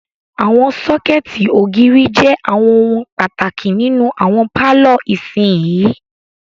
Àwọn sọ́kẹ̀tì ògiri jẹ àwọn ohun pàtàkì nínú àwọn pálọ̀ ìsinyìí.